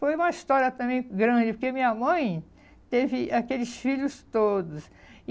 Foi uma história também grande, porque minha mãe teve aqueles filhos todos.